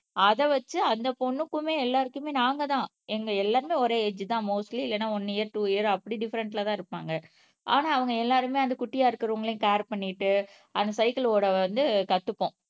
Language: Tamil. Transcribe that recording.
அத வச்சு அந்த பொண்ணுக்குமே எல்லாருக்குமே நாங்க தான் எங்க எல்லாருமே ஒரே ஏஜ் தான் மோஸ்ட்லி இல்லைன்னா ஒன்னு இயர் டூ இயர் அப்படி டிஃபரென்ட்லதான் இருப்பாங்க ஆனா அவங்க எல்லாருமே அந்த குட்டியா இருக்கிறவங்களையும் கேர் பண்ணிட்டு அந்த சைக்கிள் ஓட வந்து கத்துப்போம்